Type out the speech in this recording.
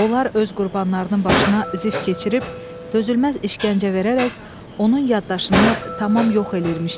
Onlar öz qurbanlarının başına zif keçirib dözülməz işgəncə verərək onun yaddaşını tam yox eləyirmişlər.